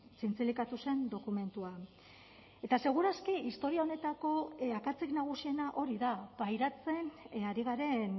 zintzilikatu zen dokumentua eta seguraski historia honetako akatsik nagusiena hori da pairatzen ari garen